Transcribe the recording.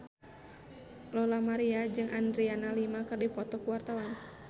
Lola Amaria jeung Adriana Lima keur dipoto ku wartawan